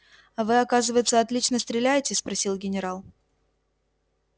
а вы оказывается отлично стреляете спросил генерал